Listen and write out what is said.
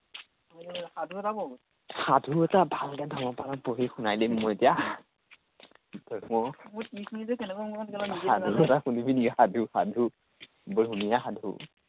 সাধু এটা পঢ়ো। সাধু এটা ভালকে বেলেগ ধৰণে পঢ়ি শুনাই দিম, মই এতিয়া। এতিয়া পঢ়ো। সাধু এটা শুনিবি নেকি, সাধু সাধু বৰ ধুনীয়া সাধু।